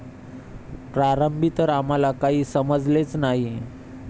प्रारंभी तर आम्हाला काही समजलेच नाही.